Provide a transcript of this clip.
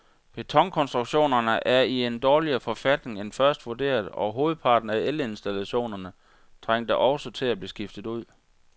Betonkonstruktionerne er i en dårligere forfatning end først vurderet, og hovedparten af elinstallationerne trænger også til at blive skiftet ud.